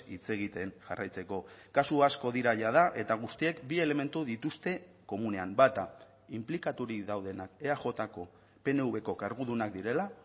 hitz egiten jarraitzeko kasu asko dira jada eta guztiek bi elementu dituzte komunean bata inplikaturik daudenak eajko pnvko kargudunak direla